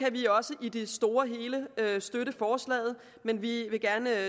at vi også i det store hele kan støtte forslaget men vi vil gerne